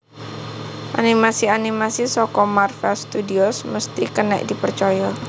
Animasi animasi saka Marvel Studios mesti kenek dipercoyo